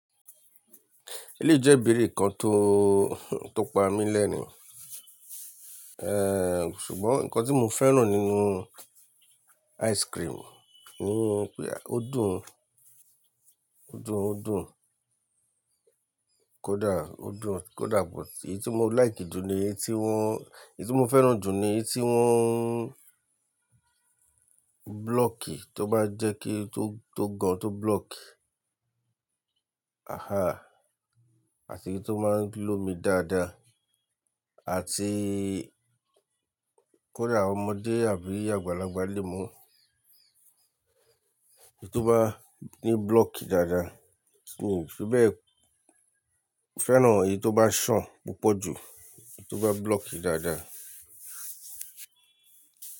Eléyìí jẹ́ ibèrè kan tó, tó pa mí lẹ́rin ṣùgbọ́n nǹkan tí mo fẹ́ràn nínú ice cream, ni pe, ó dùn, ó dùn, ó dùn. Kódà ó dùn, kódà but èyí tí mo like jù ni èyí tí wọ́n, èyí tí mo fẹ́ràn jù ni èyí tí wọ́n block tó bá jẹ́ kí tó, tó gan tó block. Àti eyi tó máa ń lọ́ mi dáadáa àti kó dà ọmọdé àbí àgbàlagbà lè mú. Èyí tó bá ní block dáadáa, ti mi fibe fẹ́ràn èyí tó bá ṣàn púpọ̀ jù, èyí tó bá block dáadáa.